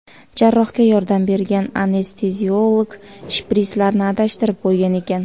Jarrohga yordam bergan anesteziolog shprislarni adashtirib qo‘ygan ekan.